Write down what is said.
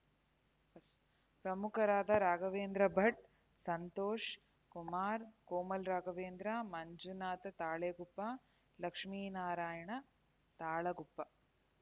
ಪ್ರಮುಖರಾದ ರಾಘವೇಂದ್ರ ಭಟ್‌ ಸಂತೋಷ್‌ ಕುಮಾರ್‌ ಕೋಮಲ್‌ ರಾಘವೇಂದ್ರ ಮಂಜುನಾಥ ತಾಳಗುಪ್ಪ ಲಕ್ಷ್ಮಿನಾರಾಯಣ ತಾಳಗುಪ್ಪ